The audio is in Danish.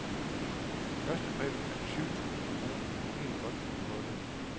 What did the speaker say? Førstepræmien er på syv tusind kroner, helt godt for en bolle.